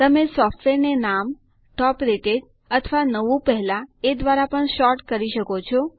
તમે સોફ્ટવેર ને નામ ટોપ રેટેડ અથવા નવુ પહેલા એ દ્વારા પણ સૉર્ટ કરી શકો છો